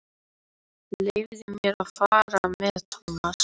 Leyfðu mér að fara með Thomas.